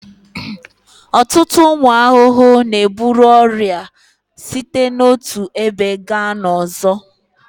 Ọtụtụ ụmụ ahụhụ na-eburu ọrịa site n'otu ebe gaa n'ọzọ